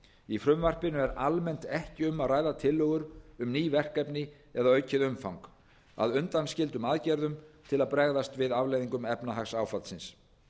í frumvarpinu er almennt ekki um að ræða tillögur um ný verkefni eða aukið umfang að undanskildum aðgerðum til að bregðast við afleiðingum efnahagsáfallsins